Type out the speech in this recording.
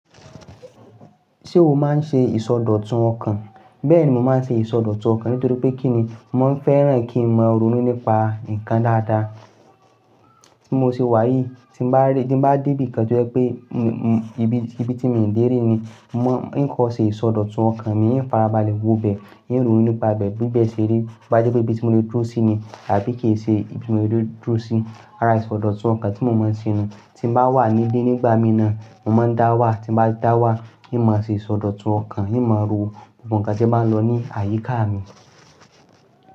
Ṣé o máa ń ṣe ìsọdọ̀tun ọkàn? Bẹ́ẹ̀ni, mo máa ń ṣe ìsọdọ̀tun ọkàn nítorí pé kí ni? Mo máa ń fẹ́ràn kí n máa ronú nípa nǹkan dáadáa. Tí mo ṣe wà yìí, tí n bá ri, ti n bá débìkan tó jẹ́ pé ibi tí miì dé rí ni, mo hín kọ́ ṣe ìsọdọ̀tun ọkàn mi, hín farabalẹ̀ wobẹ̀, hín ronú nípa ibẹ̀ bíbẹ̀ ṣe rí. Bá jẹ́ pé ibi tí mo lè dúró sí ni àbí kìí ṣe ibi tí mo lè dúró sí. Rárá, ìsọdọ̀tun ọkàn tí mo máa ń ṣe ni tí mo bá wà níbí nígbà mí náà, mo máa ń dá wà, tí mo bá ti dá wà, hín máa ṣe ìsọdọ̀tun ọkàn, hín máa ro gbogbo nǹkan tí ń bá ń lọ ní àyíká mi.